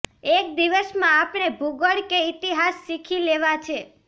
એક દિવસમાં આપણે ભૂગોળ કે ઈતિહાસ શીખી લેવાં છે